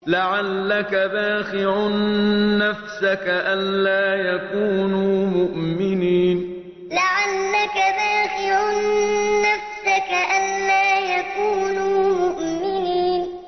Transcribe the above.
لَعَلَّكَ بَاخِعٌ نَّفْسَكَ أَلَّا يَكُونُوا مُؤْمِنِينَ لَعَلَّكَ بَاخِعٌ نَّفْسَكَ أَلَّا يَكُونُوا مُؤْمِنِينَ